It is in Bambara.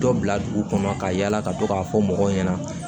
Dɔ bila dugu kɔnɔ ka yala ka to k'a fɔ mɔgɔw ɲɛna